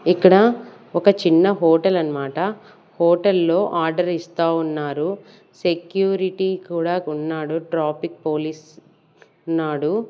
ఇక్కడ ఒక చిన్న హోటల్ అన్నమాట హోటల్ లో ఆర్డర్ ఇస్తా ఉన్నారు సెక్యూరిటీ కూడా ఉన్నాడు ట్రాఫిక్ పోలీస్ ఉన్నాడు.